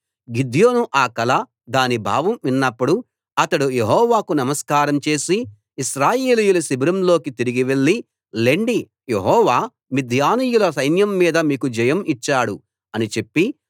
గిద్యోను ఆ కల దాని భావం విన్నప్పుడు అతడు యెహోవాకు నమస్కారం చేసి ఇశ్రాయేలీయుల శిబిరంలోకి తిరిగి వెళ్లి లెండి యెహోవా మిద్యానీయుల సైన్యం మీద మీకు జయం ఇచ్చాడు అని చెప్పి